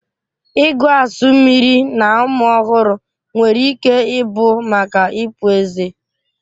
Ịgụ asu mmiri na ụmụ ọhụrụ nwere ike ịbụ maka ịpụ ezé